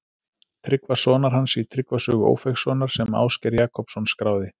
Tryggva sonar hans í Tryggva sögu Ófeigssonar sem Ásgeir Jakobsson skráði.